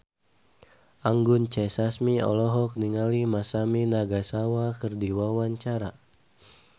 Anggun C. Sasmi olohok ningali Masami Nagasawa keur diwawancara